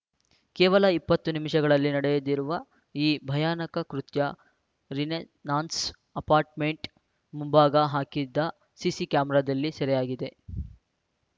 ಕೇವಲ ಇಪ್ಪತ್ತು ನಿಮಿಷಗಳಲ್ಲಿ ನಡೆದಿರುವ ಈ ಭಯಾನಕ ಕೃತ್ಯ ರಿನೆಸಾನ್ಸ್ ಅಪಾರ್ಟ್‌ಮೆಂಟ್ ಮುಂಭಾಗ ಹಾಕಿದ್ದ ಸಿಸಿ ಕ್ಯಾಮರಾದಲ್ಲಿ ಸೆರೆಯಾಗಿದೆ